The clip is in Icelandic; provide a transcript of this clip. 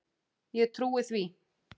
Ég trúi því.